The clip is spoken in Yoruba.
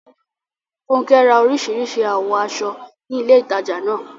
Funke ra orísìírísìí àwọ̀ aṣọ ní ilé ìtajà náà.